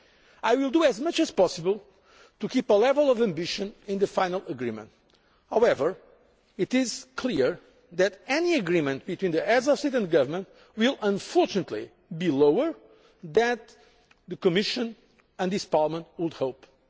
for. I will do all I can to retain a level of ambition in the final agreement. However, it is clear that any agreement between the Heads of State and Government will, unfortunately, be less than the Commission and this Parliament would hope